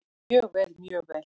Mjög vel, mjög vel.